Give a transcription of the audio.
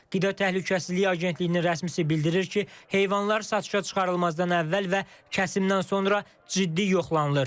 Qida Təhlükəsizliyi Agentliyinin rəsmisi bildirir ki, heyvanlar satışa çıxarılmazdan əvvəl və kəsimdən sonra ciddi yoxlanılır.